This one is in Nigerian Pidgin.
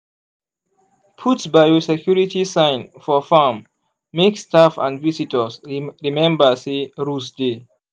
put biosecurity sign for farm make staff and visitors remember say rules dey.